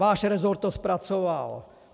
Váš resort to zpracoval.